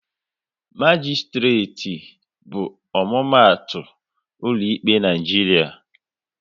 Magisitireti bụ omumatu ụlọ ikpe n'Naijiria